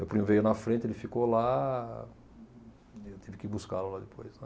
Meu primo veio na frente, ele ficou lá, e eu tive que buscá-lo lá depois, né?